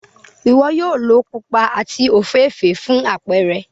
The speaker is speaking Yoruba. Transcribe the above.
Iwọ yoo lo pupa ati ofeefee fun apẹrẹ.